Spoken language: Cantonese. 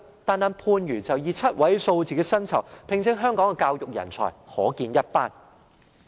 單單看番禺以7位數字的薪酬，聘請香港的教育人才，即可見一斑。